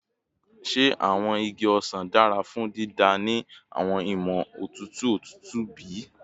Ṣe awọn igi osan dara fun dida ni awọn iwọn otutu otutu bi?